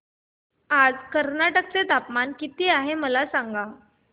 आज कर्नाटक चे तापमान किती आहे मला सांगा